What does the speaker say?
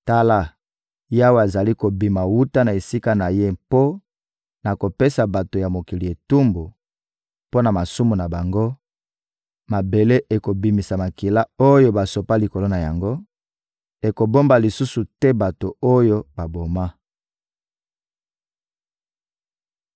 Tala, Yawe azali kobima wuta na esika na Ye mpo na kopesa bato ya mokili etumbu mpo na masumu na bango; mabele ekobimisa makila oyo basopa likolo na yango, ekobomba lisusu te bato oyo baboma.